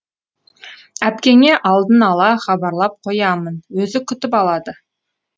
әпкеңе алдын ала хабарлап қоямын өзі күтіп алады